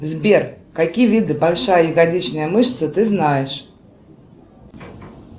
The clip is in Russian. сбер какие виды большая ягодичная мышца ты знаешь